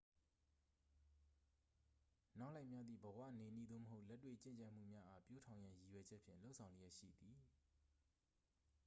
နောက်လိုက်များသည် ဘဝနေနည်း သို့မဟုတ် လက်တွေ့ကျင့်ကြံမှုများအား ပျိုးထောင်ရန်ရည်ရွယ်ချက်ဖြင့် လုပ်ဆောင်လျက်ရှိသည်